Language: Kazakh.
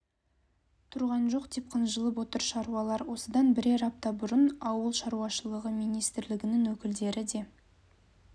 тұрған жоқ деп қынжылып отыр шаруалар осыдан бірер апта бұрын ауыл шаруашылығы министрлігінің өкілдері де